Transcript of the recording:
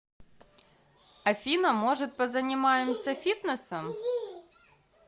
афина может позанимаемся фитнесом